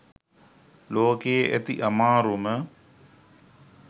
ලෝකයෙ ඇති අමාරුම